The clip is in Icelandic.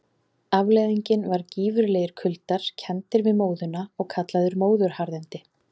Afleiðingin var gífurlegir kuldar, kenndir við móðuna og kallaðir móðuharðindi.